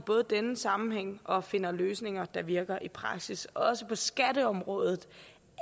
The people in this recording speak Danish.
denne sammenhæng og at finde løsninger der virker i praksis også på skatteområdet